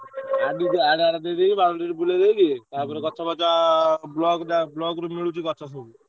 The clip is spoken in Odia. Boundary ବୁଲେଇଦେବି, ତାପରେ ଗଛ ଫଛ ବ୍ଲକ୍ ରୁ ମିଳୁଛି ଗଛ ମଛ ସବୁ।